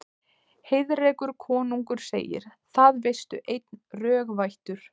Heiðrekur konungur segir: Það veistu einn, rög vættur